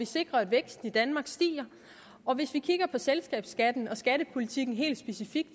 sikrer at væksten i danmark stiger hvis vi kigger på selskabsskatten og skattepolitikken helt specifikt